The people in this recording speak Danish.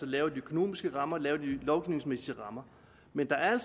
lave de økonomiske rammer og lave de lovgivningsmæssige rammer men der er